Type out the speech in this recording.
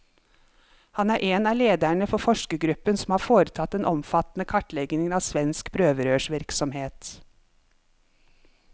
Han er en av lederne for forskergruppen som har foretatt den omfattende kartleggingen av svensk prøverørsvirksomhet.